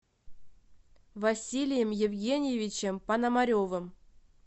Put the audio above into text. василием евгеньевичем пономаревым